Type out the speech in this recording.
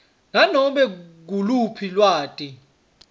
nanome nguluphi lwati